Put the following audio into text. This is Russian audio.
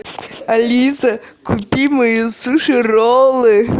алиса купи мои суши роллы